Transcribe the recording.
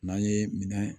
N'an ye minɛn